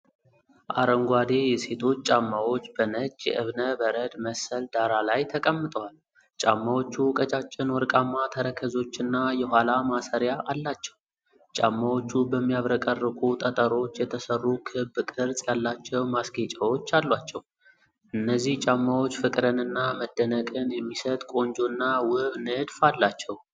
አረንጓዴ የሴቶች ጫማዎች በነጭ የእብነ በረድ መሰል ዳራ ላይ ተቀምጠዋል። ጫማዎቹ ቀጫጭን ወርቃማ ተረከዞችና የኋላ ማሰሪያ አላቸው። ጫማዎቹ በሚያብረቀርቁ ጠጠሮች የተሠሩ ክብ ቅርጽ ያላቸው ማስጌጫዎች አሏቸው። እነዚህ ጫማዎች ፍቅርንና መደነቅን የሚሰጥ ቆንጆና ውብ ንድፍ አላቸው።